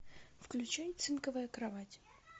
включай цинковая кровать